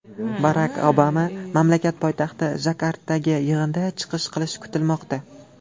Barak Obama mamlakat poytaxti Jakartadagi yig‘inda chiqish qilishi kutilmoqda.